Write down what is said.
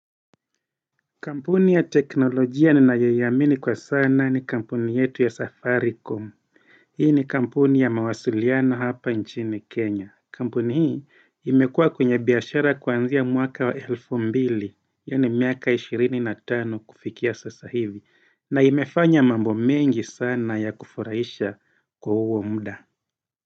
Kampuni ya teknolojia ninayoiamini kwa sana ni kampuni yetu ya safaricom. Hii ni kampuni ya mawasiliano hapa nchini Kenya. Kampuni hii imekuwa kwenye biashara kwanzia mwaka wa elfu mbili, ya ni miaka ishirini na tano kufikia sasa hivi. Na imefanya mambo mengi sana ya kufuraisha kwa uo mda.